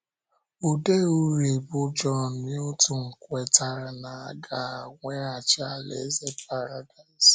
Ode uri bụ́ John Milton kwetara na a ga - eweghachi alaeze Paradaịs